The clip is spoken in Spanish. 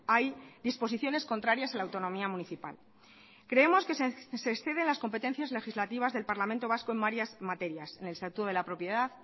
hay disposiciones contrarias a la autonomía municipal creemos que se exceden las competencias legislativas del parlamento vasco en varias materias en el estatuto de la propiedad